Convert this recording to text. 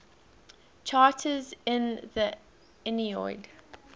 characters in the aeneid